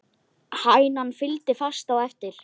Hænan fylgdi fast á eftir.